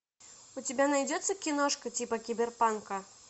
у тебя найдется киношка типа киберпанка